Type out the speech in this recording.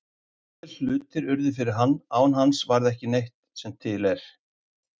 Allir hlutir urðu fyrir hann, án hans varð ekki neitt sem til er.